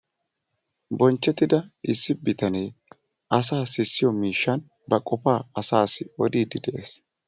bonchettida issi bitanee asaa sissiyo miishshan asaassi ba qofaa odiidi de'ees